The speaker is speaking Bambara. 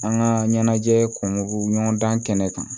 An ka ɲɛnajɛ kun ɲɔgɔn dan kan